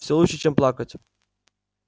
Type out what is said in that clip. всё лучше чем плакать